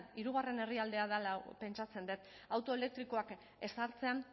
hirugarren herrialdea dela pentsatzen dut auto elektrikoak ezartzen